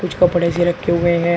कुछ कपड़े से रखे हुए हैं।